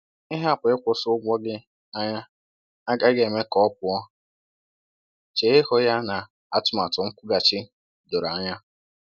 Ịhapụ ịkwụsị ụgwọ gị anya agaghị eme ka ọ pụọ; chee ihu ya na atụmatụ nkwụghachi doro anya